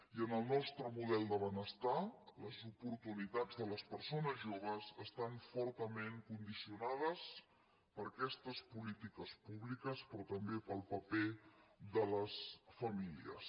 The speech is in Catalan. i en el nostre model de benestar les oportunitats de les persones joves estan fortament condicionades per aquestes polítiques públiques però també pel paper de les famílies